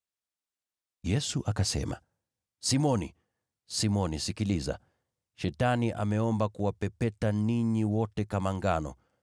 Yesu akasema, “Simoni, Simoni, sikiliza, Shetani ameomba kuwapepeta ninyi wote kama ngano.